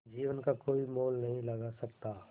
जीवन का कोई मोल नहीं लगा सकता